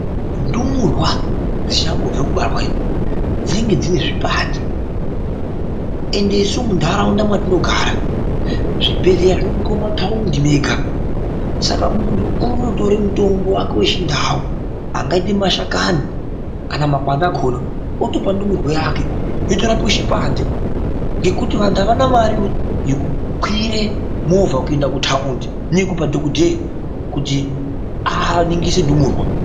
Ndumurwa dzi changobve kubarwa dzinenge dzine zvipande ende isu mu ndaraunda matino gara zvi bhedhleya zvingori mu mataundi mega saka muntu unoto tore mutombo wake wechi ndau anga ite mashakani kana makwande akona otopa ndumurwa yake yoto rapwe chipande ngekuti vantu avana mari yeku kwire movha kuenda ku taundi neye kupa dhokodheya kuti aningire ndumurwa.